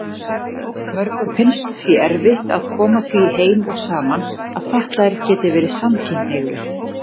Mörgum finnst því erfitt að koma því heim og saman að fatlaðir geti verið samkynhneigðir.